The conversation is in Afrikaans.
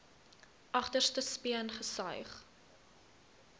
agterste speen gesuig